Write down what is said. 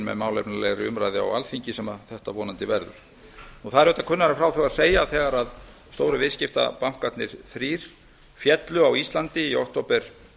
með málefnalegri umræðu á alþingi sem þetta vonandi verður það er auðvitað kunnara en frá þurfi að segja að þegar stóru viðskiptabankarnir þrír féllu á íslandi í október